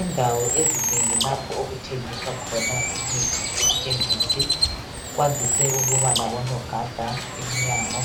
Indawo ezinengi lapho okuthengiswa khona imithi ekhemisi kwandise ukuba labonogada emnyango